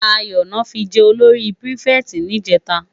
Dayo lò fi jè ólóri pirifèti nijètá